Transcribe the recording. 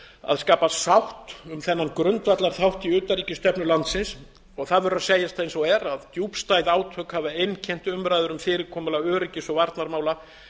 að skapa sátt um þennan grundvallarþátt í utanríkisstefnu landsins og það verður að segjast eins og er að djúpstæð átök hafa einkennt umræður um fyrirkomulag öryggis og varnarmála